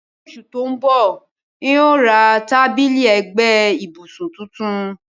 Ni osù to n bọ, n o ra tábìlì ẹ́gbẹ ibùsùn tuntun